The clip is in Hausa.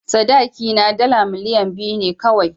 Sadakina dala miliyan biyu ne kawai.